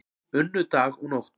Unnu dag og nótt